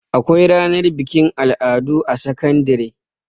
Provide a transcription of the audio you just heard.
Akwai ranar bikin al'adu a sakandare.